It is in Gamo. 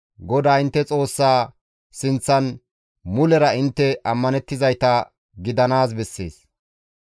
GODAA intte Xoossaa sinththan mulera intte ammanettizayta gidanaas bessees.